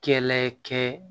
Kɛlɛ kɛ